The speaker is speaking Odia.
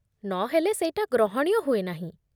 ନହେଲେ, ସେଇଟା ଗ୍ରହଣୀୟ ହୁଏ ନାହିଁ ।